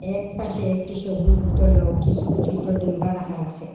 এক পাশে একটি সবুজ বোতলও কিসু ছোট ডিম্বা রাখা আসে।